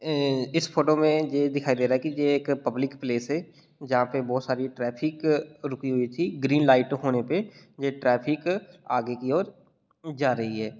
ए-ए इस फोटो में जे दिखाई दे रहा है के जे एक पब्लिक प्लेस है जहां पे बहुत सारी ट्रैफिक रुकी हुई थी ग्रीन लाइट होने पे ये ट्रैफिक आगे की ओर जा रही है।